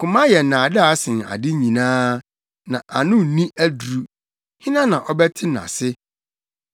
Koma yɛ nnaadaa sen ade nyinaa na ano nni aduru. Hena na ɔbɛte nʼase?